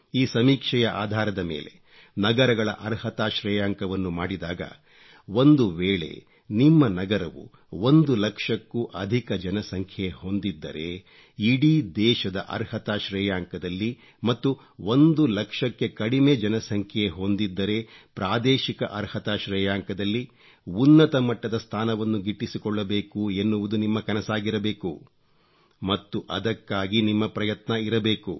ಈ ಸಮೀಕ್ಷೆಯ ಆಧಾರದ ಮೇಲೆ ನಗರಗಳ ಅರ್ಹತಾ ಶ್ರೇಯಾಂಕವನ್ನು ಮಾಡಿದಾಗ ಒಂದು ವೇಳೆ ನಿಮ್ಮ ನಗರವು ಒಂದು ಲಕ್ಷಕ್ಕೂ ಅಧಿಕ ಜನಸಂಖ್ಯೆ ಹೊಂದಿದ್ದರೆ ಇಡೀ ದೇಶದ ಅರ್ಹತಾ ಶ್ರೇಯಾಂಕದಲ್ಲಿ ಮತ್ತು ಒಂದು ಲಕ್ಷಕ್ಕೆ ಕಡಿಮೆ ಜನಸಂಖ್ಯೆ ಹೊಂದಿದ್ದರೆ ಪ್ರಾದೇಶಿಕ ಅರ್ಹತಾ ಶ್ರೇಯಾಂಕದಲ್ಲಿ ಉನ್ನತ ಮಟ್ಟದ ಸ್ಥಾನವನ್ನು ಗಿಟ್ಟಿಸಿಕೊಳ್ಳಬೇಕು ಎನ್ನುವುದು ನಿಮ್ಮ ಕನಸಾಗಿರಬೇಕು ಮತ್ತು ಅದಕ್ಕಾಗಿ ನಿಮ್ಮ ಪ್ರಯತ್ನ ಇರಬೇಕು